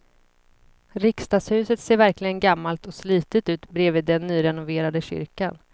Riksdagshuset ser verkligen gammalt och slitet ut bredvid den nyrenoverade kyrkan.